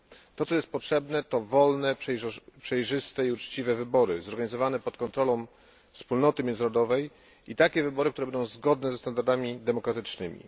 To, co jest potrzebne, to wolne, przejrzyste i uczciwe wybory zorganizowane pod kontrolą wspólnoty międzynarodowej i takie wybory, które będą zgodne ze standardami demokratycznymi.